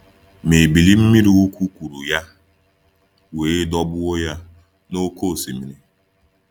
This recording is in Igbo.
Ma ebili mmiri ukwu kụrụ ya wee dọgbuo ya n’oké osimiri.